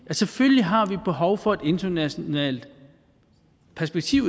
at selvfølgelig har vi behov for et internationalt perspektiv